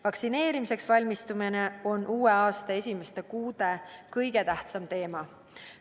Vaktsineerimiseks valmistumine on uue aasta esimeste kuude kõige tähtsam teema.